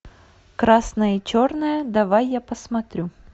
красное и черное давай я посмотрю